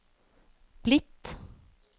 blitt